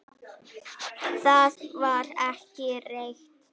Það var ekki rétt.